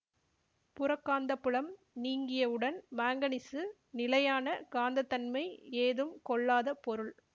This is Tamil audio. புறக் காந்தப்புலம் நீங்கியவுடன் மாங்கனீசு நிலையான காந்தத்தன்மை ஏதும் கொள்ளாத பொருள்